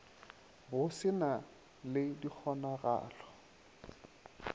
go se na le dikgonagalo